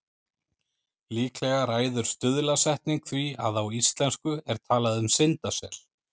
Líklega ræður stuðlasetning því að á íslensku er talað um syndasel.